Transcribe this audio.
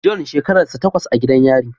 John shekararsa tawas a gidan yari